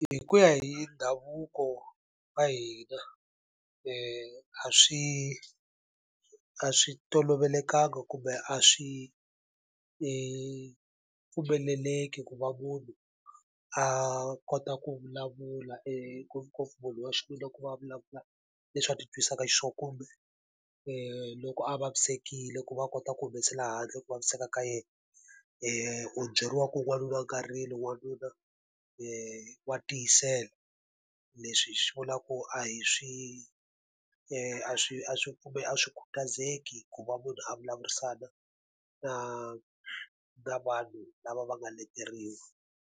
Hi ku ya hi ndhavuko wa hina a swi a swi tolovelekanga kumbe a swi pfumeleleki ku va munhu a kota a ku vulavula ngopfungopfu munhu wa xiviri ku va a vulavula leswi va ti twisaka xiswona. Kumbe loko a vavisekile ku va a kota ku humesela handle ku vaviseka ka yena, u byeriwa ku n'wanuna a nga rili, wanuna wa tiyisela. Leswi swi vula ku a hi swi a swi a swi a swi khutazeki hi ku va munhu a vulavurisana na na vanhu lava va nga leteriwa.